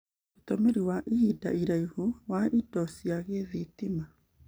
Ũtũmĩri wa ihinda iraihu wa indo cia gĩthitima,